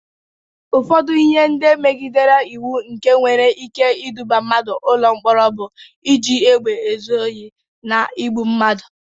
Ụfọdụ ihe ndị megidere iwu nke nwere ike iduba mmadụ ụlọ mkpọrọ bụ iji egbe ezu Ohi, na igbụ mmadụ.